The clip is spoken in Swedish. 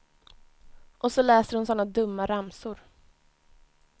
Och så läser hon såna dumma ramsor.